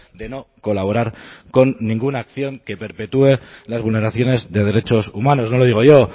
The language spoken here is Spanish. de no colaborar con ninguna acción que perpetúe las vulneraciones de derechos humanos no lo digo yo